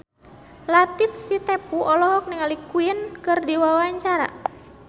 Latief Sitepu olohok ningali Queen keur diwawancara